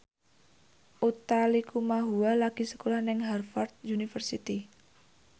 Utha Likumahua lagi sekolah nang Harvard university